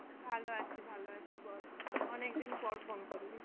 ভালো আছি ভালো আছি বল, অনেকদিন পর phone করলি.